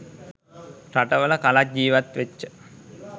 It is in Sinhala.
රටවල කලක් ජීවත් වෙච්ච